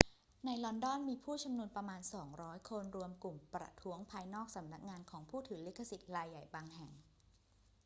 ในลอนดอน มีผู้ชุมนุมประมาณ 200 คนรวมกลุ่มประท้วงภายนอกสำนักงานของผู้ถือลิขสิทธิ์รายใหญ่บางแห่ง